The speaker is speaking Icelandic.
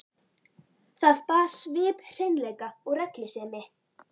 Það bar svip hreinleika og reglusemi.